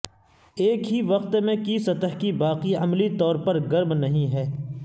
ایک ہی وقت میں کی سطح کے باقی عملی طور پر گرم نہیں ہے